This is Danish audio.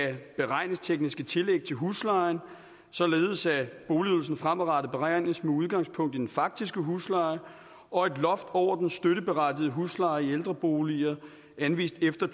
beregningstekniske tillæg til huslejen således at boligydelsen fremadrettet beregnes med udgangspunkt i den faktiske husleje og et loft over den støtteberettigede husleje i ældreboliger anvist efter